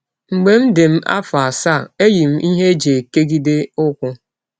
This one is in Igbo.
Mgbe m dị m afọ asaa, eyi m ihe e ji ekegide ụkwụ